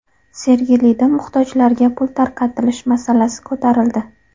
Sergelida muhtojlarga pul tarqatilishi masalasi ko‘tarildi.